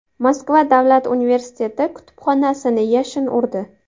Moskva davlat universiteti kutubxonasini yashin urdi.